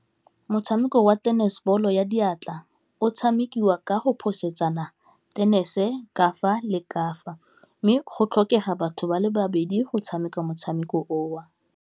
Motshameko wa tennis ball-o ya diatla o tshamekiwa ka go phosetsana tennis-e kafa le kafa, mme go tlhokega batho ba le babedi go tshameka motshameko o.